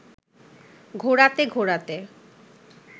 ঘোরাতে ঘোরাতে